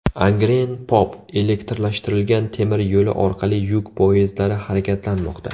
Angren-Pop elektrlashtirilgan temir yo‘li orqali yuk poyezdlari harakatlanmoqda.